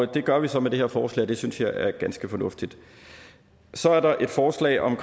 det gør vi så med det her forslag og det synes jeg er ganske fornuftigt så er der et forslag om